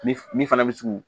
Min min fana bɛ sigi